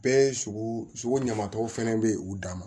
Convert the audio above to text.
Bɛɛ ye sugu sugu ɲamatɔ fɛnɛ bɛ ye u dan ma